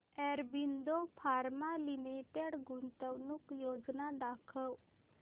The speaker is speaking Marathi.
ऑरबिंदो फार्मा लिमिटेड गुंतवणूक योजना दाखव